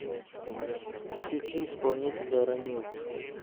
включи исполнителя рамил